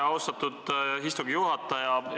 Austatud istungi juhataja!